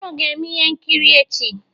Unu ga-eme ihe nkiri echi?